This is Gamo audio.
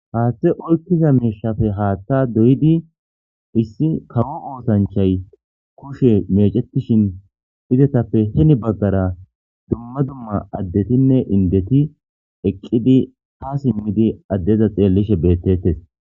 Haththa ke'izappe haththa oyikidi issi haththa osanchchay kushe mechetishen heni bagara dumma dumma adetinne indeti eqqidi ha simidi addeza eqqidi xelishsheni de'es.